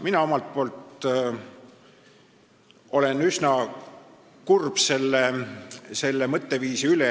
Mina olen üsna kurb sellise mõtteviisi pärast.